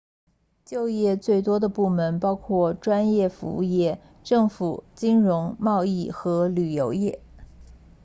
就业最多的部门包括专业服务业政府金融贸易和旅游业